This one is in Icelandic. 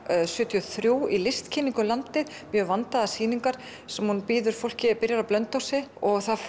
sjötíu og þrjú í listkynningu um landið mjög vandaðar sýningar sem hún býður fólki á byrjar á Blönduósi og það